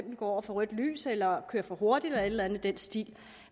må gå over for rødt lys eller kører for hurtigt eller et i den stil